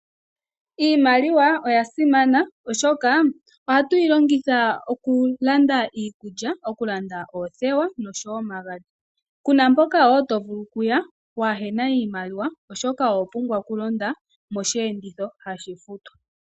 Iimaliwa oya simana, oshoka ohatu yi longitha okulanda iikulya, okulanda oothewa nosho wo omagadhi. Ku na mpoka wo to vulu okuya waa he na iimaliwa, oshoka oho pumbwa okulonda mosheenditho hashi futwa.